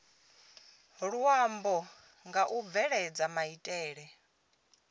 luambo nga u bveledza maitele